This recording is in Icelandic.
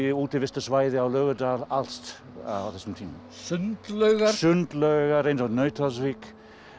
útivistarsvæði í Laugardal allt á þessum tíma sundlaugar sundlaugar eins og Nauthólsvík